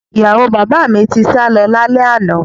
Ìyàwó bàbá mi ti sálọ lálẹ́ àná